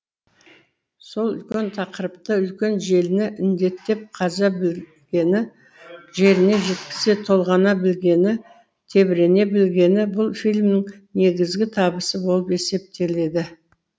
сол үлкен тақырыпты үлкен желіні індетіп қаза білгені жеріне жеткізе толғана білгені тебірене білгені бұл фильмнің негізгі табысы болып есептеледі